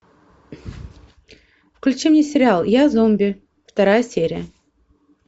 включи мне сериал я зомби вторая серия